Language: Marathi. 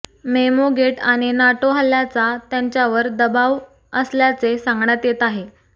मेमोगेट आणि नाटो हल्ल्याचा त्यांच्यावर दबाब असल्याचे सा्ंगण्यात येत आहे